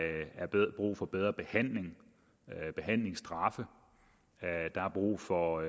brug for bedre behandling behandlingsstraffe der er brug for